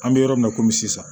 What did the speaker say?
An bɛ yɔrɔ min na i komi sisan